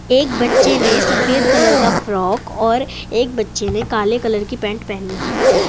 एक बच्चे ने सफेद कलर का फ्रॉक और एक बच्चे ने काले कलर की पैंट पहनी हुई है।